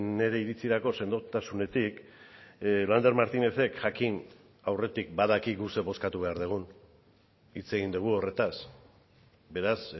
nire iritzirako sendotasunetik lander martínezek jakin aurretik badakigu zer bozkatu behar dugun hitz egin dugu horretaz beraz